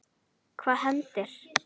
Hvað hendir?